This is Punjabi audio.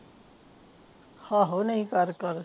ਆਹੋ ਨਹੀਂ ਤਾਰੇ ਕੋਲ